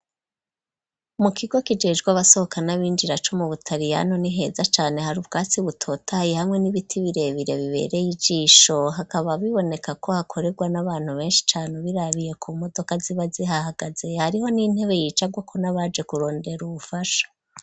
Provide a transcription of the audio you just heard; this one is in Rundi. Mu kigo kijejwe abasohoka n'ab'injira co mu butaliyano n'iheza cyane hari ubwatsi butotayi hamwe n'ibiti birebire bibereye ijisho hakaba biboneka ko hakorerwa n'abantu benshi cane birabiye ku modoka ziba zihahagaze hariho n'intebe yicagwa ko nabaje kurondera ubufasha.